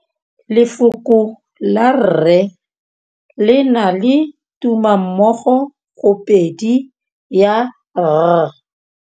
Lefoko la rre le na le tumammogôpedi ya, r.